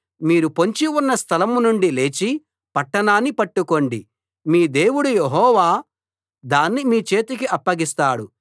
మీరు పొంచి ఉన్న స్థలం నుండి లేచి పట్టణాన్ని పట్టుకోండి మీ దేవుడు యెహోవా దాన్ని మీ చేతికి అప్పగిస్తాడు